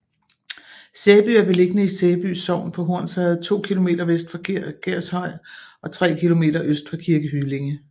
Sæby er beliggende i Sæby Sogn på Hornsherred to kilometer vest for Gershøj og tre kilometer øst for Kirke Hyllinge